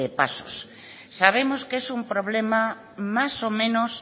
pasos sabemos que es un problema más o menos